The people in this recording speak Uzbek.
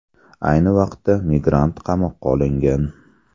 Ayni vaqtda migrant qamoqqa olingan.